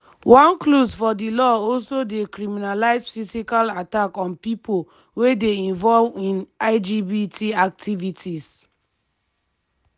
one clause for di law also dey criminalize physical attack on pipo wey dey involve in lgbt activities.